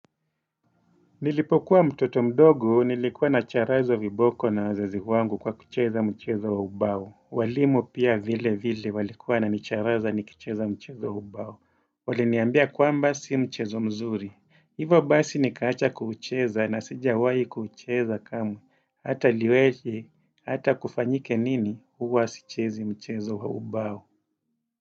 Nilipokuwa mtoto mdogu, nilikuwa na charazwa viboko na wazazi wangu kwa kucheza mchezo wa ubao. Walimu pia vile vile walikuwa na nicharaza ni kucheza mchezo wa ubao. Wale niambia kwamba si mchezo mzuri. Hivo basi nikaacha kucheza na sijawahi kuucheza kamwe. Hata liwezi, hata kufanyike nini huwa sichezi mchezo wa ubao.